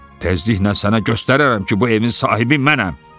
Təzliklə sənə göstərərəm ki, bu evin sahibi mənəm.